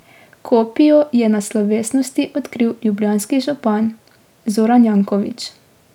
Kopijo je na slovesnosti odkril Ljubljanski župan Zoran Janković.